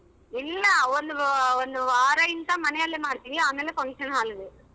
ಇಲ್ಲ ಒಂದು~ ಒಂದುವಾರಯಿಂದ ಮನೇಲಿ ಮಾಡ್ತೀವಿ ಆಮೇಲೆ function hall ಗೆ.